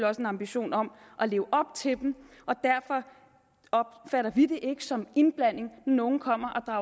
også en ambition om at leve op til dem og derfor opfatter vi det ikke som indblanding når nogen kommer